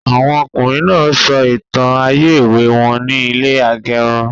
Àwọn ọkùnrin náà sọ ìtàn ayé èwe wọn ní ilẹ agẹrun